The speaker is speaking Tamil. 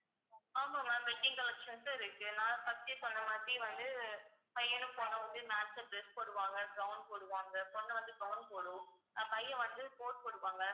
ஆமா ma'am wedding collections இருக்கு நான் first எ சொன்ன மாதிரி வந்து பையனும் பொண்ணும் வந்து match அ dress போடுவாங்க gown போடுவாங்க பொண்ணு வந்து gown போடும் பையன் வந்து pose கொடுப்பாங்க